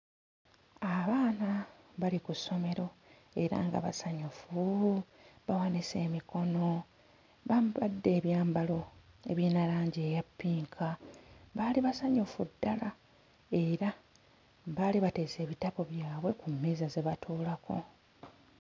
Abaana bali ku ssomero era nga basanyufu, bawanise emikono bambadde ebyambalo ebiyina langi eya ppinka baali basanyufu ddala era baali bateese ebitabo byabwe ku mmeeza ze batuulako.